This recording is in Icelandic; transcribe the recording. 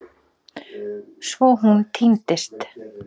Svo hún týndist.